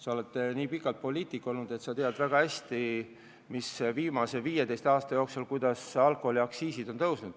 Sa oled nii kaua poliitik olnud, et sa tead väga hästi, mismoodi viimase 15 aasta jooksul alkoholiaktsiisid on tõusnud.